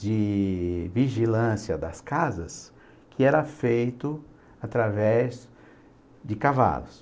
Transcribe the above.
de... vigilância das casas, que era feito através de cavalos.